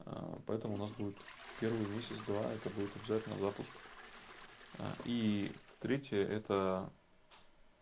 поэтому нас будет первый месяц-два это будет обязательно запуск и третье это